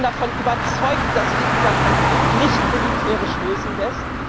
Ich bin davon überzeugt, dass sich dieser Konflikt nicht militärisch lösen lässt.